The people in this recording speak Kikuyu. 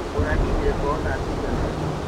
ũrakinyire kwao thaa cigana?